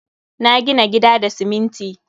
Na gina gida da siminti.